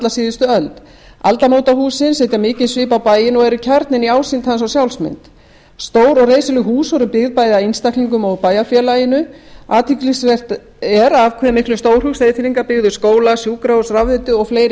síðustu öld aldamótahúsin setur mikinn svip á bæinn og er kjarninn í ásýnd hans og sjálfsmynd stór og reisuleg hús voru byggð bæði af einstaklingum og bæjarfélaginu athyglisvert af hve miklum stórhug seyðfirðingar byggðu skóla sjúkrahús rafveitu og fleiri